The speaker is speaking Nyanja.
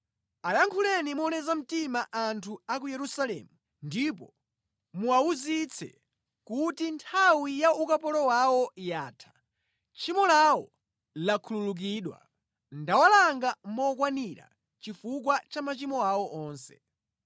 Ayankhuleni moleza mtima anthu a ku Yerusalemu ndipo muwawuzitse kuti nthawi ya ukapolo wawo yatha, tchimo lawo lakhululukidwa. Ndawalanga mokwanira chifukwa cha machimo awo onse.